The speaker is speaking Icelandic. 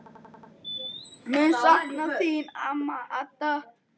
Mun sakna þín amma Hadda.